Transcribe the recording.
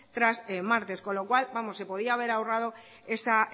tras martes con lo cual se podía haber ahorrado esa